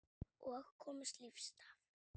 Og komist lífs af.